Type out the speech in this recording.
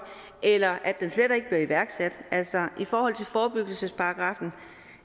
eller at den slet ikke bliver iværksat altså i forhold til forebyggelsesparagraffen